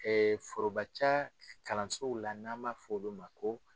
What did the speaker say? forobaca kalansow la n'an b'a f'olu ma ko.